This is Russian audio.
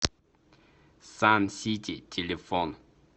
сан сити телефон